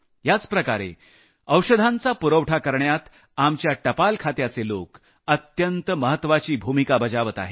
याच प्रकारे औषधांचा पुरवठा करण्यात आपल्या टपाल खात्याचे लोक अत्यंत महत्वाची भूमिका बजावत आहेत